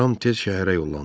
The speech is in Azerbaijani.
Ram tez şəhərə yollandı.